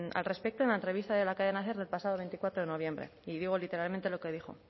al respecto en la entrevista de la cadena ser el pasado veinticuatro de noviembre y digo literalmente lo que dijo